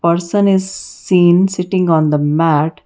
person is seen sitting on the mat.